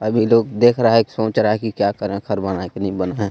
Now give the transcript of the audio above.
अब ये लोग देख रहा है की सोच रहा है की क्या करे घर बनाए की ना बनाए.